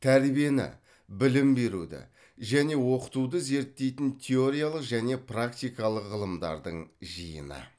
тәрбиені білім беруді және оқытуды зерттейтін теориялық және практикалық ғылымдардың жиыны